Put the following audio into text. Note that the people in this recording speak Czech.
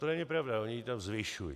To není pravda, oni ji zvyšují.